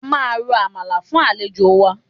A máa ro àmàlà fún àlejò wa